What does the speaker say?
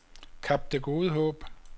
Kap Det Gode Håb